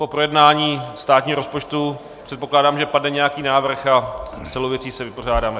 Po projednání státního rozpočtu, předpokládám, že padne nějaký návrh a s celou věcí se vypořádáme.